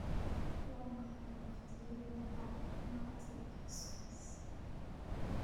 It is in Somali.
waa maxay waqtiyada bagmati express